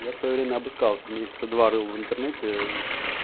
я в своё время обыскался месяца два рыл в интернете